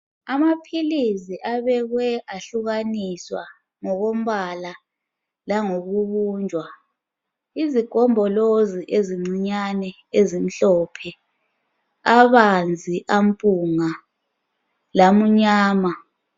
Amaphilizi abekwe ahlukaniswa ngokombala langokubunjwa , izigombolozi ezincinyane ezimhlophe abanzi ampunga lamnyama